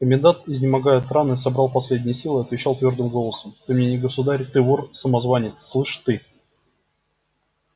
комендант изнемогая от раны собрал последние силы отвечал твёрдым голосом ты мне не государь ты вор самозванец слышь ты